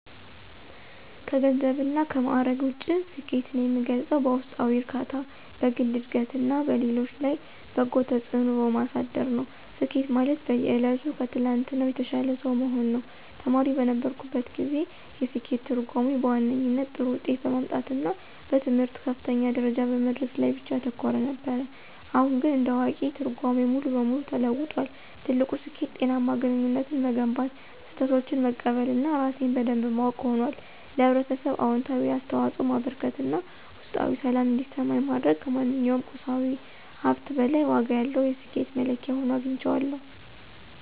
ከገንዘብና ከማዕረግ ውጪ፣ ስኬትን የምገልጸው በውስጣዊ እርካታ፣ በግል ዕድገትና በሌሎች ላይ በጎ ተጽዕኖ በማሳደር ነው። ስኬት ማለት በየዕለቱ ከትናንትናው የተሻለ ሰው መሆን ነው። ተማሪ በነበርኩበት ጊዜ፣ የስኬት ትርጉሜ በዋነኛነት ጥሩ ውጤት በማምጣትና በትምህርት ከፍተኛ ደረጃ በመድረስ ላይ ብቻ ያተኮረ ነበር። አሁን ግን እንደ አዋቂ፣ ትርጓሜው ሙሉ በሙሉ ተለውጧል። ትልቁ ስኬት ጤናማ ግንኙነቶችን መገንባት፣ ስህተቶችን መቀበል እና ራሴን በደንብ ማወቅ ሆኗል። ለኅብረተሰብ አዎንታዊ አስተዋጽኦ ማበርከት እና ውስጣዊ ሰላም እንዲሰማኝ ማድረግ ከማንኛውም ቁሳዊ ሀብት በላይ ዋጋ ያለው የስኬት መለኪያ ሆኖ አግኝቼዋለሁ።